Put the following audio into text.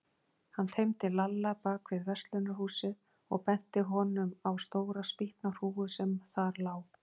Hann teymdi Lalla bak við verslunarhúsið og benti honum á stóra spýtnahrúgu sem þar lá.